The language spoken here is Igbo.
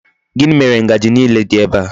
Gini mere Ngaji niile di ebe a?